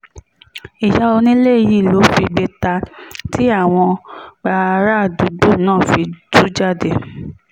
ìyá onílé yìí ló figbe ta tí àwọn bárààdúgbò náà fi tú jáde